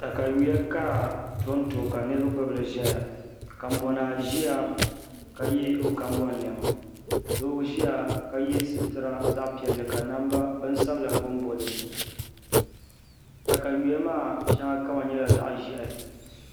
Katawiya ka bi ku tonto ka niraba gbubili ʒɛya konbon naa ʒiya ka yɛ o kanbon niɛma doo ʒiya ka yɛ sitira zaɣ piɛlli ka bin sabila bonbo dinni katawiya maa shɛŋa kama nyɛla zaɣ ʒiɛhi